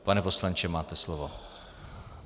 Pane poslanče, máte slovo.